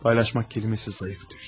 Paylaşmaq kəlməsi zəif düşdü.